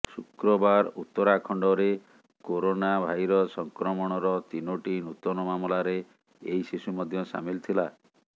ଶୁକ୍ରବାର ଉତ୍ତରାଖଣ୍ଡରେ corona virus ସଂକ୍ରମଣର ତିନୋଟି ନୂତନ ମାମଲାରେ ଏହି ଶିଶୁ ମଧ୍ୟ ସାମିଲ ଥିଲା